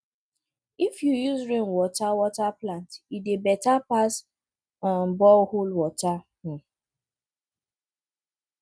if you use rainwater water plant e dey better pass um borehole water um